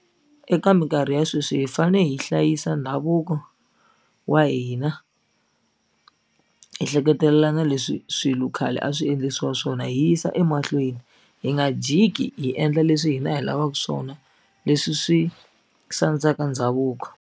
Eka mikarhi ya sweswi hi fane hi hlayisa ndhavuko wa hina hi hleketelela na leswi swilo khale a swi endlisiwa swona hi yisa emahlweni hi nga jiki hi endla leswi hina hi lavaku swona leswi swi sandzaka ndhavuko.